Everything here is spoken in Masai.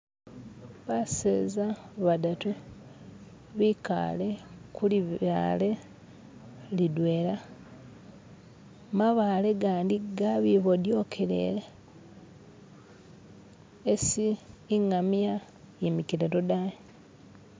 Baseza badatu bikale kulibaale lidwela mabaale gandi gabibodyokelele esi ingamiya yimikile lodayi